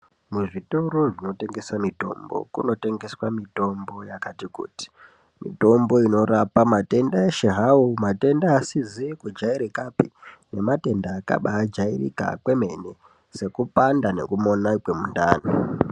Muzvitoro zvinotengese mitombo, kunotengeswa mitombo yakati kuti, mitombo inorapa matenda eshe hawo, matenda asizi kujairikapi, nematenda akabaajairika kwemene, sekupanda nekumona kwemundani.